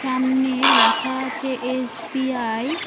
সামনে লেখা আছে এস_বি_আই ।